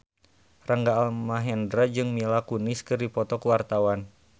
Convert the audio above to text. Rangga Almahendra jeung Mila Kunis keur dipoto ku wartawan